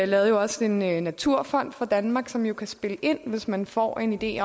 lavede også en naturfond for danmark som jo kan spille ind hvis man får en idé